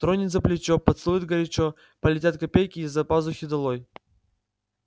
тронет за плечо поцелует горячо полетят копейки из-за пазухи долой